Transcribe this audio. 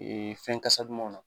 Ee fɛn kasa dumanw na.